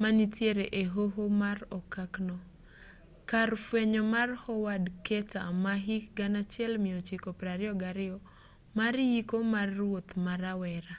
manitiere e hoho mar okak no kar fweny mar howard carter ma hik 1922 mar yiko mar ruoth ma rawera